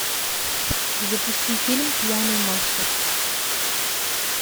запусти фильм пьяный мастер